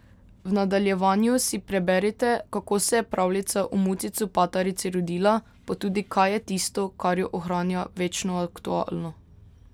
V nadaljevanju si preberite, kako se je pravljica o Muci copatarici rodila, pa tudi kaj je tisto, kar jo ohranja večno aktualno.